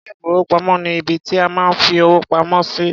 Ilé-ìfowópamọ́ ni ibi tí a máa ń fi owó pamọ́ sí.